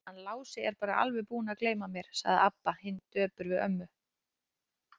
Hann Lási er bara alveg búinn að gleyma mér, sagði Abba hin döpur við ömmu.